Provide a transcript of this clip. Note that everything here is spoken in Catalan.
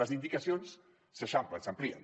les indicacions s’eixamplen s’amplien